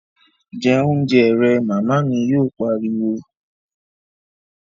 Jẹ oúnjẹ rẹ', Màmá mi yóò pariwo